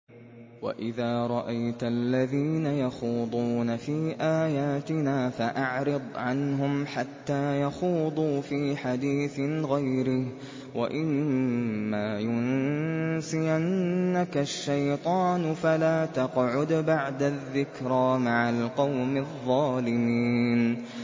وَإِذَا رَأَيْتَ الَّذِينَ يَخُوضُونَ فِي آيَاتِنَا فَأَعْرِضْ عَنْهُمْ حَتَّىٰ يَخُوضُوا فِي حَدِيثٍ غَيْرِهِ ۚ وَإِمَّا يُنسِيَنَّكَ الشَّيْطَانُ فَلَا تَقْعُدْ بَعْدَ الذِّكْرَىٰ مَعَ الْقَوْمِ الظَّالِمِينَ